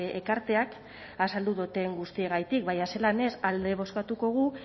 ekarteak azaldu dudan guztiagatik baina zelan ez alde bozkatuko dugu